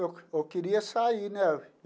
Eu eu queria sair, né?